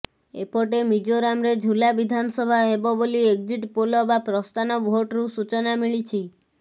ଏପଟେ ମିଜୋରାମରେ ଝୁଲା ବିଧାନସଭା ହେବ ବୋଲି ଏକ୍ଜିଟ ପୋଲ ବା ପ୍ରସ୍ଥାନ ଭୋଟରୁ ସୂଚନା ମିଳିଛି